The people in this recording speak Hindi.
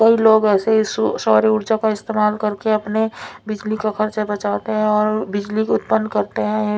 कई लोग ऐसे ही सो सौर ऊर्जा का इस्तेमाल करके अपने बिजली का खर्चा बचाते हैं और बिजली उत्पन्न करते हैं।